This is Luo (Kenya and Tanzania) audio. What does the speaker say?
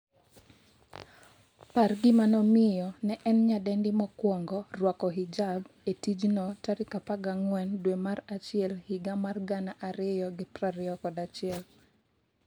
par gima nomiyo ne en nyadendi mokwongo rwako hijab e tijno14 dwe mar achiel higa mar 2021